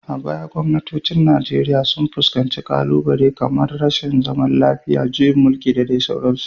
A baya gwamnatocin Najeriya sun fuskanci ƙalubale kamar rashin zaman lafiya, juyin mulki, da dai sauransu.